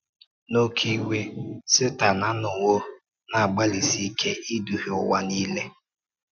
N’ókè iwe, Sétan anọwo na-agbàlịsi ike idúhie ụwa niile.